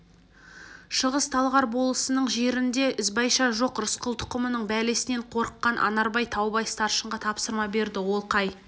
шығыс-талғар болысының жерінде ізбайша жоқ рысқұл тұқымының бәлесінен қорыққан анарбай таубай старшынға тапсырма берді ол қай